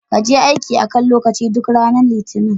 Kaje aiki a kan lokaci duk ranar litinin.